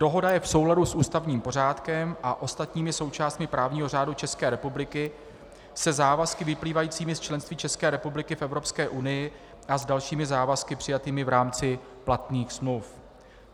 Dohoda je v souladu s ústavním pořádkem a ostatními součástmi právního řádu České republiky, se závazky vyplývajícími z členství České republiky v Evropské unii a s dalšími závazky přijatými v rámci platných smluv.